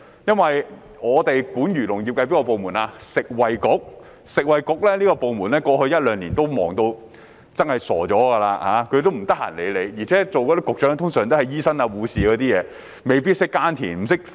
負責漁農業的食物及衞生局在過去一兩年相當忙碌，完全無暇理會我們，加上出任局長的通常是醫生或護士，他們未必懂得耕作和農業科技。